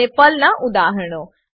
અને પર્લનાં ઉદાહરણો